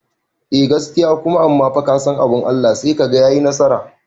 Eh gaskiya kuma amma fa kasan abun Allah sai kaga yayi nasara